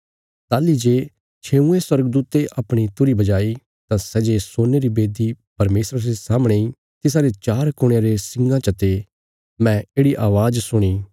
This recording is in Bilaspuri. ताहली जे छेऊँये स्वर्गदूते अपणी तुरही बजाई तां सै जे सोने री बेदी परमेशरा रे सामणे इ तिसारे चार कुणयां रे सिंगां चते मैं येढ़ि अवाज़ सुणी